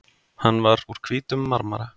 Hann var úr hvítum marmara.